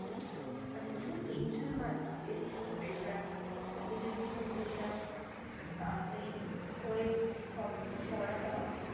আর ভীষণ Tension ভাই কাজের ভীষণ Pressure College এর ভীষণ Pressure তাতাড়ি করে সবকিছু করাটা